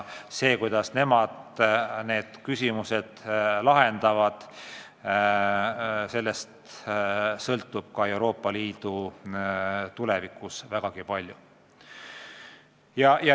Sellest, kuidas nemad need küsimused lahendavad, sõltub ka Euroopa Liidu tulevikus vägagi palju.